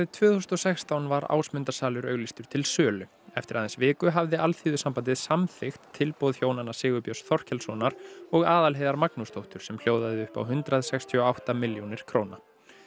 tvö þúsund og sextán var Ásmundarsalur auglýstur til sölu eftir aðeins viku hafði Alþýðusambandið samþykkt tilboð hjónanna Sigurbjörns Þorkelssonar og Aðalheiðar Magnúsdóttur sem hljóðaði upp á hundrað sextíu og átta milljónir króna